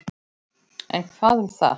En hvað um það